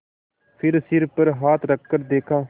फिर सिर पर हाथ रखकर देखा